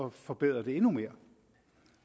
at forbedre det endnu mere